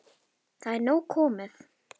Það er nóg komið.